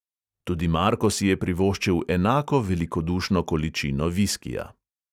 Tudi marko si je privoščil enako velikodušno količino viskija.